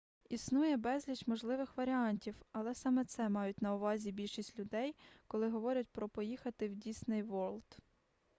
існує безліч можливих варіантів але саме це мають на увазі більшість людей коли говорять про поїхати в дісней ворлд